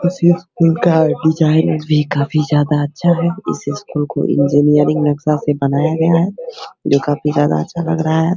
बस ये स्कूल का डिज़ाइन भी काफी ज्यादा अच्छा है | इस स्कूल को इंजीनियरिंग नक्शा से बनाया गया है जो काफ़ी ज्यादा अच्छा लग रहा है |